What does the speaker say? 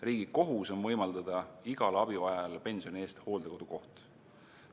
Riigi kohus on võimaldada igale abivajajale pensioni eest hooldekodukoht.